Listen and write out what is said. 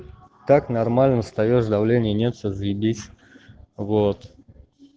так нормально встаёшь давление нет всё заебись вот